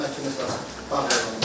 Bununla məhkəmə başa çatdı.